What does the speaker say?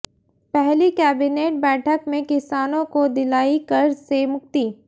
पहली कैबिनेट बैठक में किसानों को दिलाई कर्ज से मुक्ति